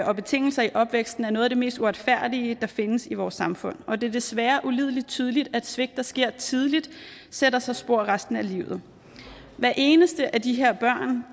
og betingelser i opvæksten er noget af det mest uretfærdige der findes i vores samfund og det er desværre ulidelig tydeligt at svigt der sker tidligt sætter sig spor resten af livet hver eneste af de her børn